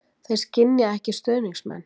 Þeir skynja ekki stuðningsmenn.